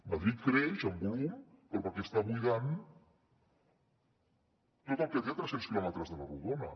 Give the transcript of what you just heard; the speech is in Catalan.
madrid creix en volum però perquè està buidant tot el que té a tres cents quilòmetres a la rodona